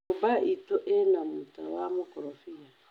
nyũmba itũ ĩna mũta wa mukorobia